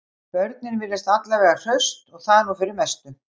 Börnin virðast alla vega hraust og það er nú fyrir mestu